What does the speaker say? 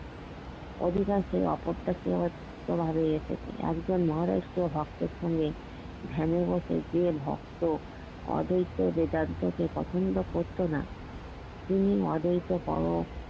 অধিকাংশ অপ্রত্যাশিত এভাবেই এসেছি একজন মহারাষ্ট্রিয় ভক্তের সঙ্গে ধ্যানে বসে যে ভক্ত অদ্যিত বেদান্ত কে পছন্দ করতো না তিনি অদ্যিত পারো